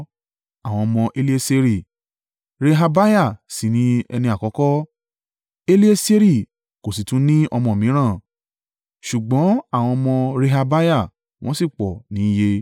Àwọn ọmọ Elieseri: Rehabiah sì ni ẹni àkọ́kọ́. Elieseri kò sì tún ní ọmọ mìíràn, ṣùgbọ́n àwọn ọmọ Rehabiah wọ́n sì pọ̀ níye.